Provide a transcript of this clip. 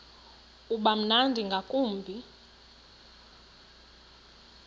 uba mnandi ngakumbi